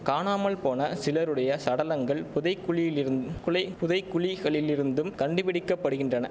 காணாமல்போன சிலருடைய சடலங்கள் புதைகுழியிலிருந் குலை புதைகுழிகளிலிருந்தும் கண்டுபிடிக்கப்படுக்கின்றன